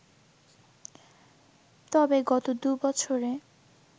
তবে গত দু’বছরে